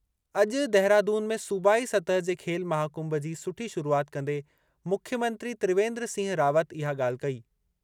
अॼु देहरादून में सूबाई सतह जे खेल महाकुंभ जी सुठी शुरूआति कंदे मुख्यमंत्री त्रिवेंद्र सिंह रावत इहा ॻाल्हि कई।